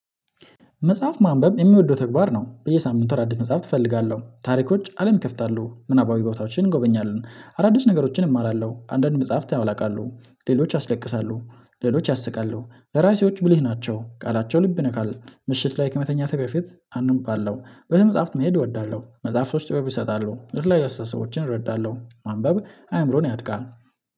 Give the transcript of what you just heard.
መጽሐፍ ማንበብ የሚወደው ተግባር ነው። በየሳምንቱ አዳዲስ መጽሐፍት እፈልጋለሁ ታሪኮች አለም ይከፍታሉ ምናባዊ ቦታዎችን እንጎበኛለን አዳዲስ ነገሮችን እማራለሁ። አንዳንድ መጽሐፍት ያውላቃሉ ሌሎች ያስለቅሳሉ ሌሎች ያስቃሉ ለራሴዎች ብልህ ናቸው ቃላቸው ልብ ነካል። ምሽት ላይ ከመተኛትህ በፊት አነባለሁ ቤተመፃህፍት መሄድ እወዳለሁ። መጽሐፍቶች ጥበብ ይሰጣሉ ለተለያዩ አስተሳሰቦችን እረዳለሁ። ማንበብ አይምሮን ያነቃል።